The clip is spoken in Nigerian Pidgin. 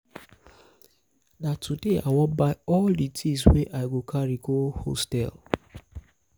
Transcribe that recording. na today i wan buy all di tins wey i go carry go hostel.